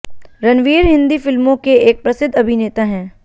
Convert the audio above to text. रणवीर हिन्दी फ़िल्मों के एक प्रसिद्ध अभिनेता हैं